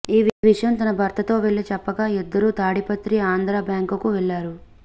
ఈ విషయం తన భర్త తో వెళ్లి చెప్పగా ఇద్దరూ తాడిపత్రి ఆంధ్ర బ్యాంకుకు వెళ్లారు